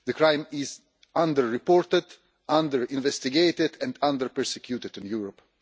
The crime is under-reported, under-investigated and under-prosecuted in Europe.